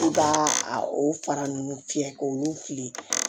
U b'a a fara nunnu fiyɛ k'olu fili